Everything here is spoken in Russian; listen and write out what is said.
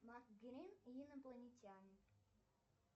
макс грин и инопланетяне